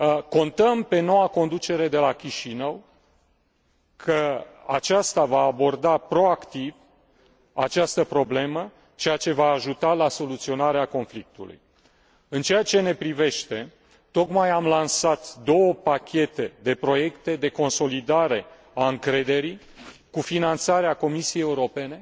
Contăm pe noua conducere de la Chișinău că aceasta va aborda proactiv această problemă, ceea ce va ajuta la soluționarea conflictului. În ceea ce ne privește, tocmai am lansat două pachete de proiecte de consolidare a încrederii, cu finanțarea Comisiei Europene